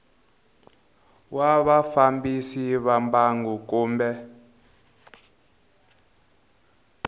wa vafambisi va mbangu kumbe